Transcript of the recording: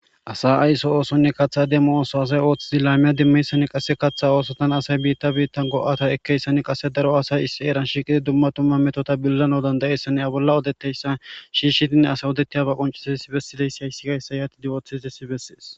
asa ayso oosonne kaththa demmo ooso asay ooththidi laamiya dimmeyssan qasse kaththa oosotan asay biitta biitta go7ata ekkeyssani qasse daro asay issi eeran shiiqidi dumma tumma metota billano dandayeessane a bolla odetteyssa shiishidine asay odettiyaba qoncisiesi bessideyssi hayssi gayssa yaati di ooththitesi bessees